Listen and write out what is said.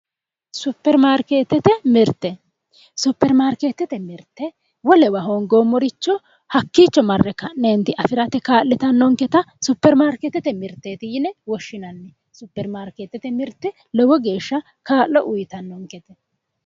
supirimaarikeetete mirite wolewa hoongoommoricho hakko hakiicho mare ka' ne afirate kaa'litanonketta supiri maariketetemiriteetti yine woshinanni supiri maarikeetete mirite lowo geeshsha kaa'lo uutanonkete